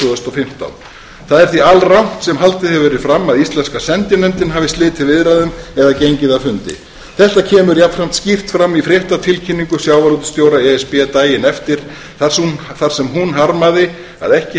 fimmtán það er því alrangt sem haldið hefur verið fram að íslenska sendinefndin hafi slitið viðræðum eða gengið af fundi þetta kemur jafnframt skýrt fram í fréttatilkynningu sjávarútvegsstjóra e s b daginn eftir þar sem hún harmaði að ekki